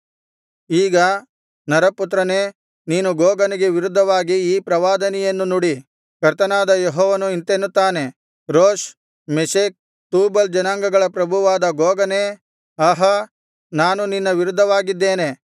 ಈಗ ನರಪುತ್ರನೇ ನೀನು ಗೋಗನಿಗೆ ವಿರುದ್ಧವಾಗಿ ಈ ಪ್ರವಾದನೆಯನ್ನು ನುಡಿ ಕರ್ತನಾದ ಯೆಹೋವನು ಇಂತೆನ್ನುತ್ತಾನೆ ರೋಷ್ ಮೆಷೆಕ್ ತೂಬಲ್ ಜನಾಂಗಗಳ ಪ್ರಭುವಾದ ಗೋಗನೇ ಆಹಾ ನಾನು ನಿನ್ನ ವಿರುದ್ಧವಾಗಿದ್ದೇನೆ